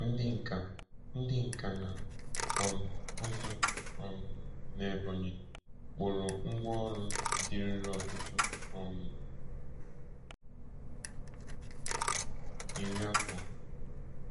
Ndị nka Ndị nka na um ụzụ um n’Ebonyi kpụrụ ngwá ọrụ dịruru ọtụtụ um iri afọ.